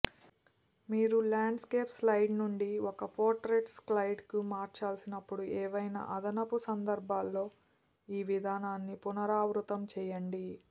మీరు landscape slide నుండి ఒక పోర్ట్రైట్ స్లయిడ్కు మార్చాల్సినప్పుడు ఏవైనా అదనపు సందర్భాల్లో ఈ విధానాన్ని పునరావృతం చేయండి